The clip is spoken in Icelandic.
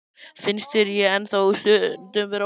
Finnst þér ég ennþá stundum vera ókunnugur maður?